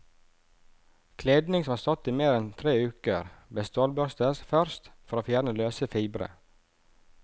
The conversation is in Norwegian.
Kledning som har stått i mer enn tre uker, bør stålbørstes først for å fjerne løse fibre.